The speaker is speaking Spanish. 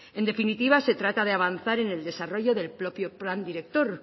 en definitiva se trata de avanzar en el desarrollo del propio plan director